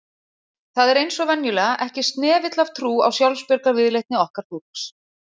Það er eins og venjulega, ekki snefill af trú á sjálfsbjargarviðleitni okkar fólks